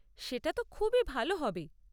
সেটা তো খুবই ভাল হবে।